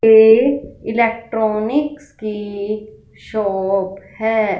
ये इलेक्ट्रॉनिक्स कि शॉप है।